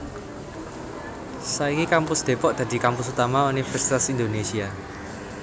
Saiki Kampus Depok dadi kampus utama Universitas Indonésia